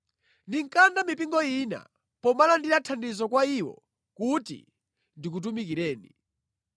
Ndinkalanda mipingo ina pomalandira thandizo kwa iwo kuti ndikutumikireni.